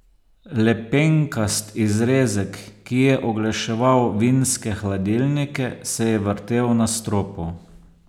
Lepenkast izrezek, ki je oglaševal vinske hladilnike, se je vrtel na stropu.